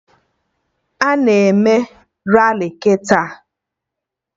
Ana eme Rali kịta?